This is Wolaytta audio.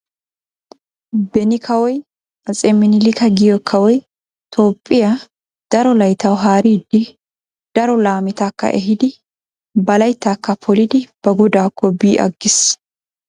Beni kawoy atse minilika giyo kawoy tophphiya daro layittawu haaridi daro laametakka ehiidi ba layittaakka polidi ba godaakko bi aggis.